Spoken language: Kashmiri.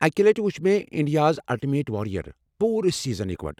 اکہِ لٹِہ وُچھ مےٚ 'انڈیاز الٹیمیٹ واریر"' پوٗرٕ سیزن یکوٹہٕ ۔